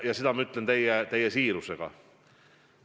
Ja seda ma ütlen täie siirusega.